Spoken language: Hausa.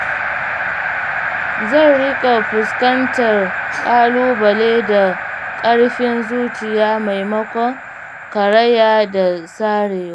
Zan rika fuskantar ƙalubale da ƙarfin zuciya maimakon karaya da sarewa..